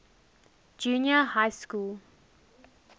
junior high school